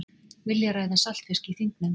Vilja ræða saltfisk í þingnefnd